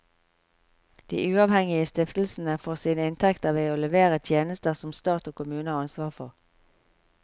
De uavhengige stiftelsene får sine inntekter ved å levere tjenester som stat og kommune har ansvar for.